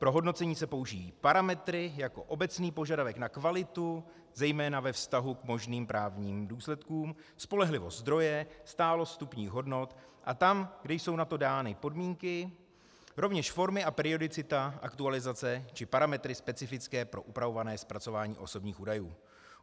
Pro hodnocení se použijí parametry jako obecný požadavek na kvalitu zejména ve vztahu k možným právním důsledkům, spolehlivost zdroje, stálost vstupních hodnot, a tam, kde jsou na to dány podmínky, rovněž forma a periodicita aktualizace a parametry specifické pro upravované zpracování osobních údajů.